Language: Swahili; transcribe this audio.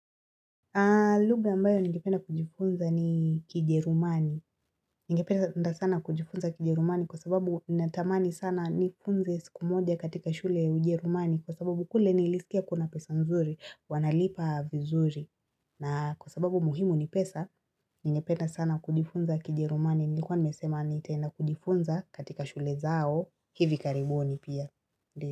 Lugha ambayo ningependa kujifunza ni kijerumani. Ningependa sana kujifunza kijerumani kwa sababu natamani sana nifunze siku moja katika shule ya ujerumani kwa sababu kule nilisikia kuna pesa nzuri, wanalipa vizuri. Na kwa sababu muhimu ni pesa, ningependa sana kujifunza kijerumani nilikuwa nimesema nitaenda kujifunza katika shule zao, hivi karibuni pia.